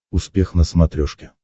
успех на смотрешке